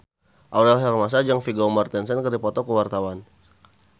Aurel Hermansyah jeung Vigo Mortensen keur dipoto ku wartawan